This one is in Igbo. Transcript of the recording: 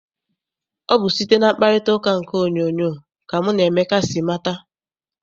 Ọ bụ site na mkparitauka nke onyoonyo ka mụ na Emeka si mata.